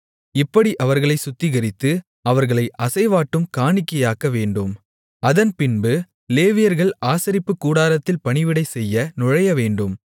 இப்படி அவர்களைச் சுத்திகரித்து அவர்களை அசைவாட்டும் காணிக்கையாக்கவேண்டும் அதன்பின்பு லேவியர்கள் ஆசரிப்புக்கூடாரத்தில் பணிவிடை செய்ய நுழையவேண்டும்